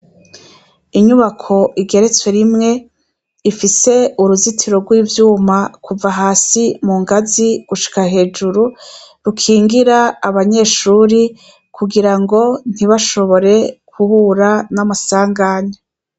Inyubako igeretswe rimwe ifise uruzitiro rw'ivyuma kuva hasi mu ngazi gushika hejuru rukingira abanyeshure kugira ngo ntibashobore guhura n'amasanganya